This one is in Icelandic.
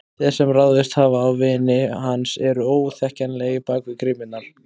Þeir sem ráðist hafa á vini hans eru óþekkjanlegir bak við grímurnar.